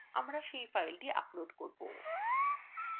আমরা we file upload করব